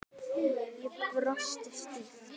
Ég brosi stíft.